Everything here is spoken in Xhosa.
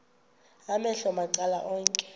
amehlo macala onke